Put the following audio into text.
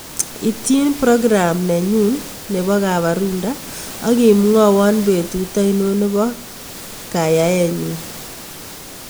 Ityin prokram nenyun nebo kabarunta ak imwawan betut ainon nebo kayaenyun